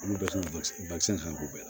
Olu bɛɛ ka k'u bɛɛ la